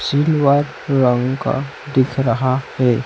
दिख रहा है।